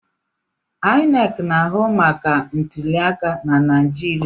INEC na-ahụ maka ntuliaka na Naịjirịa.